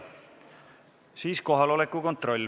Siis teeme kohaloleku kontrolli.